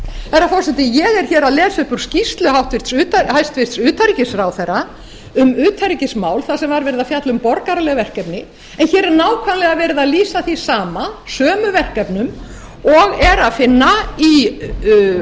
herra forseti ég er að lesa upp úr skýrslu hæstvirts utanríkisráðherra um utanríkismál þar sem var verið að fjalla um borgaraleg verkefni en hér er nákvæmlega verið að lýsa því sama sömu verkefnum og er að finna í